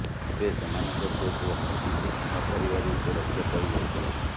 ତେବେ ସେମାନଙ୍କ ପୁଅକୁ ହାତୀ ଦେଖି ନପାରିବାରୁ ସେ ରକ୍ଷା ପାଇ ଯାଇଥିଲା